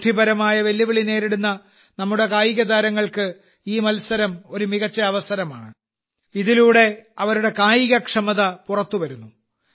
ബുദ്ധിപരമായ െവല്ലുവിളികൾ നേരിടുന്ന നമ്മുടെ കായികതാരങ്ങൾക്ക് ഈ മത്സരം ഒരു മികച്ച അവസരമാണ് ഇതിലൂടെ അവരുടെ കായികക്ഷമത പുറത്തുവരുന്നു